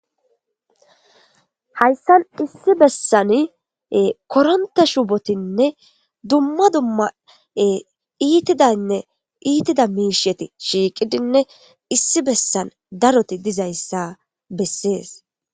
Hayssan issi bessani koronta shubotinne dumma dumma iitidaynne iitida miisheti shiiqidinne issi bessan daroti dizayssa bessees